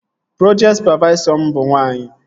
Projekti sụpavaisọ m bụ nwaanyị